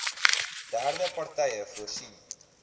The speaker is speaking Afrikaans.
derde partye voorsien